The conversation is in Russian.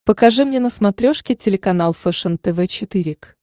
покажи мне на смотрешке телеканал фэшен тв четыре к